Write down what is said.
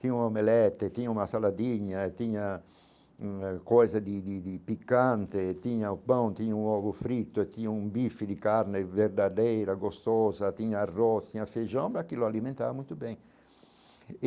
Tinha um omelete, tinha uma saladinha, tinha hum eh coisa de de de picante, tinha o pão, tinha um ovo frito, tinha um bife de carne verdadeira, gostosa, tinha arroz, tinha feijão, aquilo alimentava muito bem.